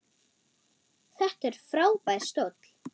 Þetta er frábær stóll.